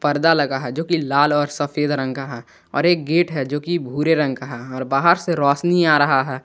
पर्दा लगा है जोकि लाल और सफेद रंग का है और एक गेट है जो कि भूरे रंग का है और बाहर से रोसनी आ रहा है।